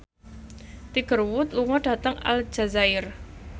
Tiger Wood lunga dhateng Aljazair